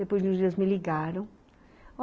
Depois de uns dias me ligaram.